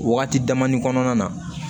Wagati dama ni kɔnɔna na